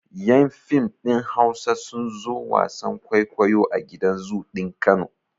Yan fim ɗin Hausa sun zo wasan kwaikwayo a gidan zoo ɗin Kano.